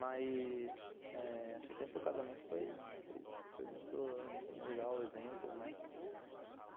Mas, eh... assim, sempre o casamento foi foi foi muito, assim, legal o exemplo, né?